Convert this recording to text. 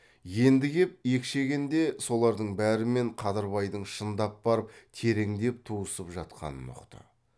енді кеп екшегенде солардың бәрімен қадырбайдың шындап барып тереңдеп туысып жатқанын ұқты